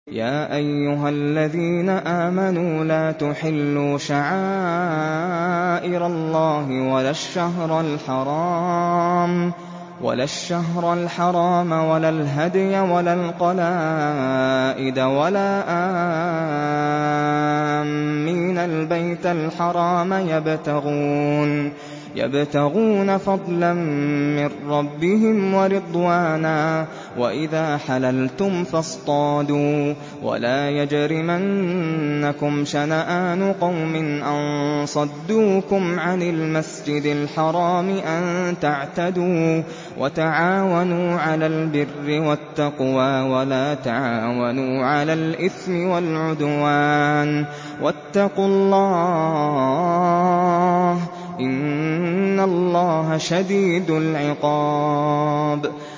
يَا أَيُّهَا الَّذِينَ آمَنُوا لَا تُحِلُّوا شَعَائِرَ اللَّهِ وَلَا الشَّهْرَ الْحَرَامَ وَلَا الْهَدْيَ وَلَا الْقَلَائِدَ وَلَا آمِّينَ الْبَيْتَ الْحَرَامَ يَبْتَغُونَ فَضْلًا مِّن رَّبِّهِمْ وَرِضْوَانًا ۚ وَإِذَا حَلَلْتُمْ فَاصْطَادُوا ۚ وَلَا يَجْرِمَنَّكُمْ شَنَآنُ قَوْمٍ أَن صَدُّوكُمْ عَنِ الْمَسْجِدِ الْحَرَامِ أَن تَعْتَدُوا ۘ وَتَعَاوَنُوا عَلَى الْبِرِّ وَالتَّقْوَىٰ ۖ وَلَا تَعَاوَنُوا عَلَى الْإِثْمِ وَالْعُدْوَانِ ۚ وَاتَّقُوا اللَّهَ ۖ إِنَّ اللَّهَ شَدِيدُ الْعِقَابِ